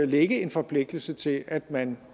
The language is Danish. ligge en forpligtelse til at man